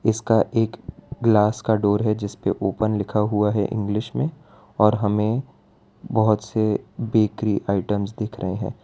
इसका एक ग्लास का डोर है जिसपे ओपन लिखा हुआ है इंग्लिश मे और हमें बहोत से बेकरी आइटम्स दिख रहे है।